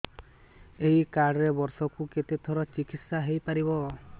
ଏଇ କାର୍ଡ ରେ ବର୍ଷକୁ କେତେ ଥର ଚିକିତ୍ସା ହେଇପାରିବ